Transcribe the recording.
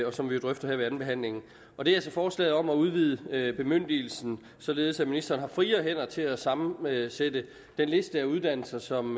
og som vi jo drøfter her ved andenbehandlingen og det er forslaget om at udvide bemyndigelsen således at ministeren har friere hænder til at sammensætte den liste af uddannelser som